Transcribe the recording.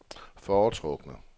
foretrukne